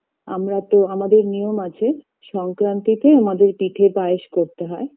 আমরা তো আমাদের নিয়ম আছে সংক্রান্তিতে আমাদের পিঠে পায়েস করতে হয়